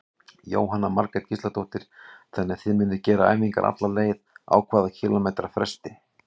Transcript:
Jóhanna Margrét Gísladóttir: Þannig að þið munuð gera æfingar alla leið, á hvað kílómetra fresti?